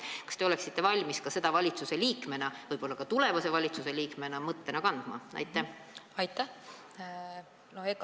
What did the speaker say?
Kas te oleksite valmis seda valitsusliikmena – võib-olla ka tulevase valitsusliikmena – mõttena edasi kandma?